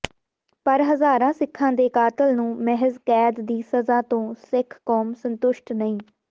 ਪਰ ਹਜ਼ਾਰਾਂ ਸਿੱਖਾਂ ਦੇ ਕਾਤਲ ਨੂੰ ਮਹਿਜ਼ ਕੈਦ ਦੀ ਸਜ਼ਾ ਤੋਂ ਸਿੱਖ ਕੌਮ ਸੰਤੁਸ਼ਟ ਨਹੀਂ